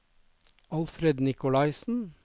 Alfred Nicolaysen